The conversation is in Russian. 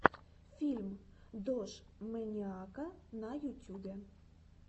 фильм дожмэниака на ютюбе